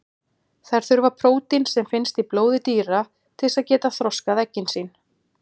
Þær þurfa prótín sem finnst í blóði dýra til þess að geta þroskað eggin sín.